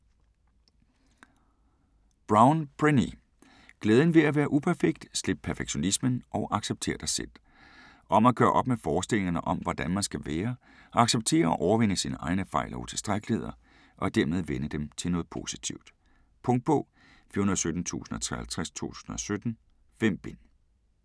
Brown, Brené: Glæden ved at være uperfekt: slip perfektionismen, og accepter dig selv Om at gøre op med forestillingerne om hvordan man skal være, og acceptere og overvinde sine egne fejl og utilstrækkeligheder, og dermed vende dem til noget positivt. Punktbog 417053 2017. 5 bind.